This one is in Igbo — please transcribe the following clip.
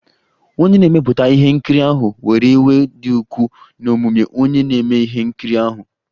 Onye na-emepụta ihe nkiri ahụ were iwe dị ukwuu n'omume onye na-eme ihe nkiri ahụ